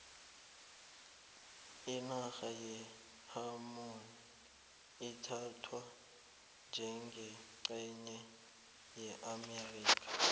inarha ye hawaii ithathwa njengencenye yeamerika